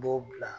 B'o bila